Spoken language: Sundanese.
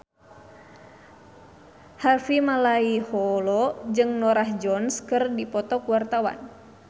Harvey Malaiholo jeung Norah Jones keur dipoto ku wartawan